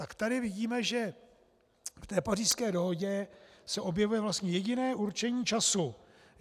Tak tady vidíme, že v té Pařížské dohodě se objevuje vlastně jediné určení času.